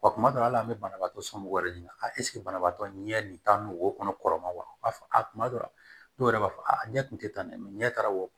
Wa kuma dɔ la hali an bɛ banabaatɔ somɔgɔw yɛrɛ ɲininka banabaatɔ ɲɛ nin taa n'o wo kɔnɔ kɔrɔma wa fɔ kuma dɔ la dɔw yɛrɛ b'a fɔ a ɲɛ tun tɛ tan dɛ mɛ ɲɛ taara wo